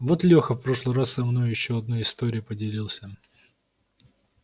вот лёха в прошлый раз со мной ещё одной историей поделился